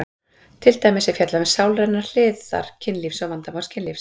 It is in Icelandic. Til dæmis er fjallað um sálrænar hliðar kynlífs og vandamál kynlífs.